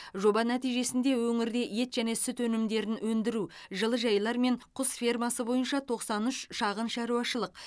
жоба нәтижесінде өңірде ет және сүт өнімдерін өндіру жылыжайлар мен құс фермасы бойынша тоқсан үш шағын шаруашылық